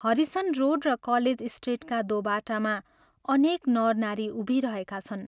Harrison Road र college स्ट्रिटका दोबाटामा अनेक नरनारी उभिरहेका छन्।